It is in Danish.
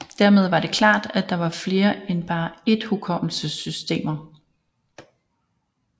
Dermed var det klart at der var flere en bare ét hukommelsessystemer